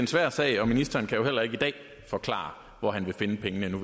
svær sag og ministeren kan jo heller ikke i dag forklare hvor han vil finde pengene nu